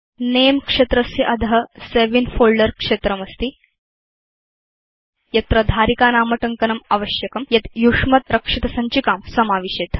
Nameक्षेत्रस्य अध save in folder क्षेत्रमस्ति यत्र धारिकानामटङ्कनम् आवश्यकं यद्यूष्मद्रक्षितसञ्चिकां समाविशेत्